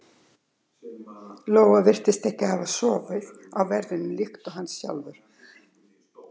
Lóa virtist ekki hafa sofið á verðinum líkt og hann sjálfur.